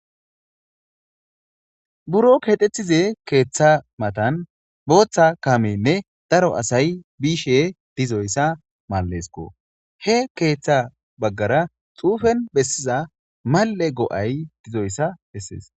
Buro keedethize keeththa matan booththa kamenne daro asay biishe dizoyssa mallesko he keeththa baggara xuufen bessiza mal7e go7ay dizoyssa bessees